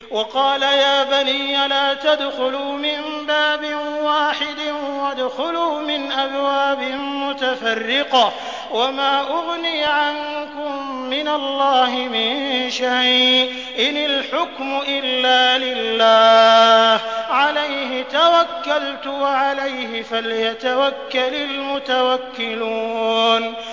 وَقَالَ يَا بَنِيَّ لَا تَدْخُلُوا مِن بَابٍ وَاحِدٍ وَادْخُلُوا مِنْ أَبْوَابٍ مُّتَفَرِّقَةٍ ۖ وَمَا أُغْنِي عَنكُم مِّنَ اللَّهِ مِن شَيْءٍ ۖ إِنِ الْحُكْمُ إِلَّا لِلَّهِ ۖ عَلَيْهِ تَوَكَّلْتُ ۖ وَعَلَيْهِ فَلْيَتَوَكَّلِ الْمُتَوَكِّلُونَ